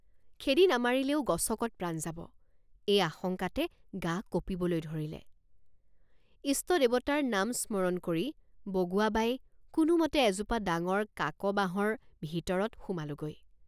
খেদি নামাৰিলেও গছকত প্ৰাণ যাব এই আশঙ্কাতে গা কঁপিবলৈ ধৰিলে ইষ্ট দেৱতাৰ নাম স্মৰণ কৰি বগুৱাবাই কোনোমতে এজোপা ডাঙৰ কাকবাঁহৰ ভিতৰত সোমালোঁগৈ।